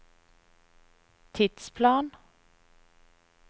tidsplan